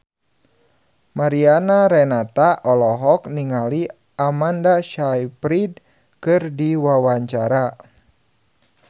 Mariana Renata olohok ningali Amanda Sayfried keur diwawancara